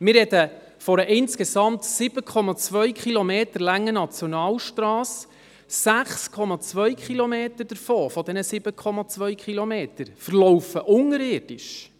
Wir sprechen von einer insgesamt 7,2 Kilometer langen Nationalstrasse, 6,2 Kilometer von diesen 7,2 verlaufen unterirdisch.